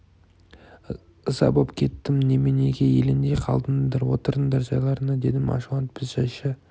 ыза боп кеттім неменеге елеңдей қалдыңдар отырыңдар жайларыңа дедім ашуланып біз жайша